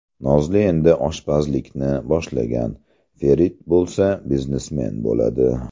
Nozli endi oshpazlikni boshlagan, Ferit bo‘lsa biznesmen bo‘ladi.